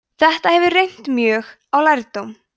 þetta hefur reynt mjög á lærdóm